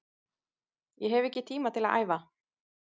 Ég hef ekki tíma til að æfa